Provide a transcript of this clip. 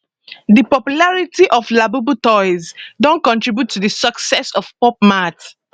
di popularity of labubu toys don contribute to di success of pop mart